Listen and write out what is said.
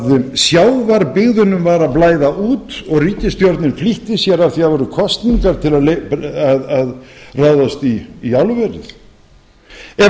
sjávarbyggðunum væri að blæða út og ríkisstjórnin flýtti sér af því það yrðu kosningar til að ráðast í álverið ef